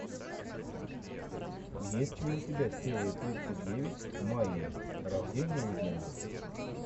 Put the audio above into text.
есть ли у тебя серия тридцать девять майи рождение легенды